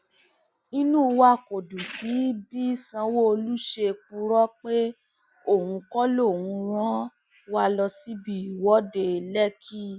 inú wa kò dùn sí bí sanwóolu ṣe purọ pé òun kọ lòún rán wa lọ sí ibi ìwọde lẹkì